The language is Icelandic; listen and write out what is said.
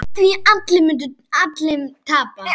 Á því munu allir tapa.